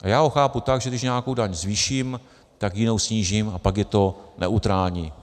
A já ho chápu tak, že když nějakou daň zvýším, tak jinou snížím, a pak je to neutrální.